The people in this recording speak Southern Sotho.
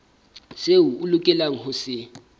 seo a lokelang ho se